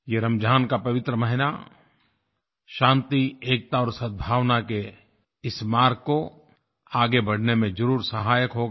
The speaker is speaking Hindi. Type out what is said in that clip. ये रमज़ान का पवित्र महीना शान्ति एकता और सद्भावना के इस मार्ग को आगे बढ़ाने में ज़रूर सहायक होगा